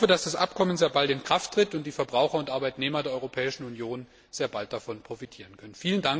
Ich hoffe, dass das Abkommen sehr bald in Kraft tritt und die Verbraucher und Arbeitnehmer der Europäischen Union sehr bald davon profitieren können.